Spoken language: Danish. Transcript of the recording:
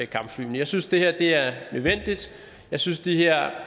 kampflyene jeg synes det her er nødvendigt jeg synes de her